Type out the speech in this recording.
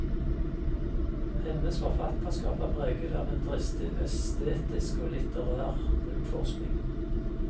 Hennes forfatterskap er preget av en dristig estetisk og litterær utforskning.